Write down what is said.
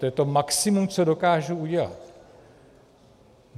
To je to maximum, co dokážu udělat.